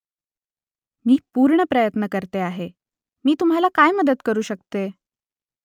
मी पूर्ण प्रयत्न करते आहे . मी तुम्हाला काय मदत करू शकते ?